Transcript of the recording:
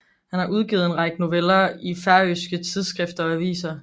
Han har udgivet en række noveller i færøske tidsskrifter og aviser